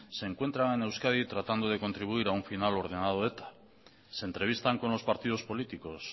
se encuentran en euskadi tratando de contribuir a un final ordenado de eta se entrevistan con los partidos políticos